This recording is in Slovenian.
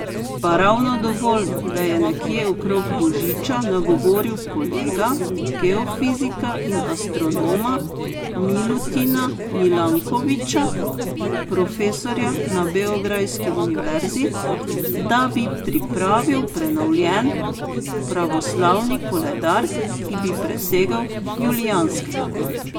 Pa ravno dovolj, da je nekje okrog božiča nagovoril kolega, geofizika in astronoma Milutina Milankovića, profesorja na beograjski univerzi, da bi pripravil prenovljen pravoslavni koledar, ki bi presegel julijanskega.